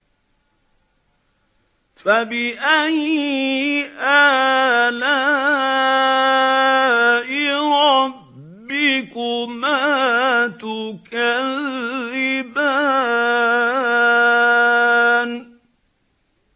فَبِأَيِّ آلَاءِ رَبِّكُمَا تُكَذِّبَانِ